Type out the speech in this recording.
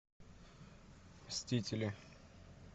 мстители